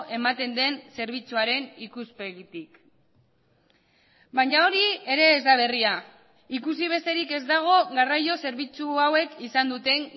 ematen den zerbitzuaren ikuspegitik baina hori ere ez da berria ikusi besterik ez dago garraio zerbitzu hauek izan duten